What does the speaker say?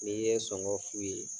N'i ye sɔngɔ f'u ye